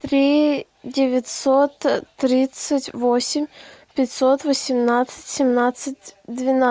три девятьсот тридцать восемь пятьсот восемнадцать семнадцать двенадцать